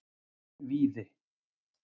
Víði